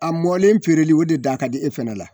A mɔlen feereli o de da ka di e fɛnɛ la.